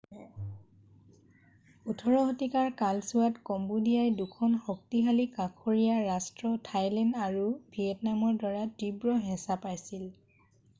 18 শতিকাৰ কালছোৱাত কম্বোদিয়াই 2খন শক্তিশালী কাষৰীয়া ৰাষ্ট্ৰ থাইলেণ্ড আৰু ভিয়েটনামৰ দ্বাৰা তীব্ৰ হেঁচা পাইছিল